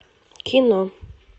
кино